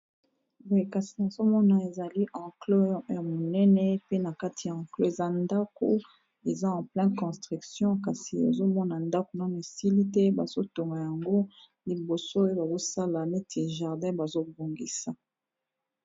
Boyekasi nazomona ezali anclox ya monene pe na kati ya anclo eza ndako eza enpleine construction kasi azomona ndako nono esili te bazotoma yango liboso oye bazosala neti jardin bazobongisa.